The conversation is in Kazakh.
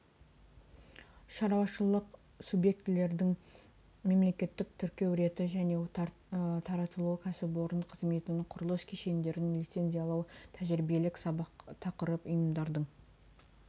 шаруашылық субъктерін мемлекеттік тіркеу реті және таратылуы кәсіпорын қызметінің құрылыс кешендерін лицензиялау тәжірибелік сабақ тақырып ұйымдардың